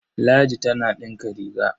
Ladi tana ɗinka riga.